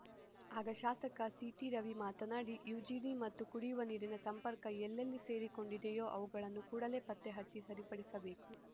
ಆಗ ಶಾಸಕ ಸಿಟಿ ರವಿ ಮಾತನಾಡಿ ಯುಜಿಡಿ ಮತ್ತು ಕುಡಿಯುವ ನೀರಿನ ಸಂಪರ್ಕ ಎಲ್ಲೆಲ್ಲಿ ಸೇರಿಕೊಂಡಿದಿಯೋ ಅವುಗಳನ್ನು ಕೂಡಲೇ ಪತ್ತೆ ಹಚ್ಚಿ ಸರಿಪಡಿಸಬೇಕು